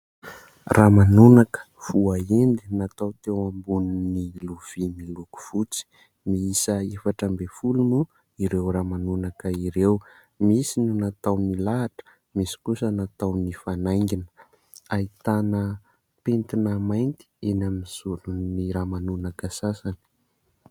Ramanonaka voahendy natao teo ambonin'ny lovia miloko fotsy. Miisa efatra amby folo moa ireo ramanonaka ireo. Misy ny natao milahatra, misy kosa natao nifanaingina. Ahitana pentina mainty eny amin'ny zoron'ny ramanonaka sasany.